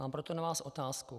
Mám proto na vás otázku.